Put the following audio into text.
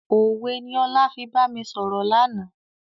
Òwe ni ọlá fi bami sọ̀rọ̀ lànà.